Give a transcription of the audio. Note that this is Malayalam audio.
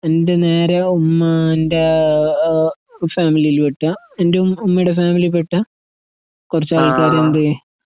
എന്റെനേരെഉമ്മാൻ്റേഹ് ഏഹ് ഫാമിലിയിൽവെട്ട എന്റെഉംഉമ്മേടെഫാമിലിയിൽപെട്ട കുറച്ചാൾക്കാരുണ്ട്.